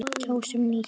Kjósum nýtt.